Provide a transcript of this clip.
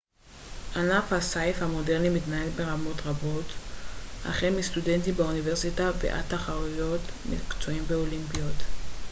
ענף הסיף המודרני מתנהל ברמות רבות החל מסטודנטים באוניברסיטה ועד תחרויות מקצועיות ואולימפיות